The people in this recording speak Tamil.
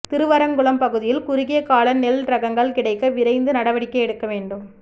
திருவரங்குளம் பகுதியில் குறுகியகால நெல் ரகங்கள் கிடைக்க விரைந்து நடவடிக்கை எடுக்க வேண்டும்